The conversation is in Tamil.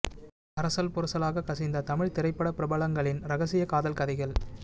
அரசல் புரசலாக கசிந்த தமிழ் திரைப்பட பிரபலங்களின் இரகசிய காதல் கதைகள்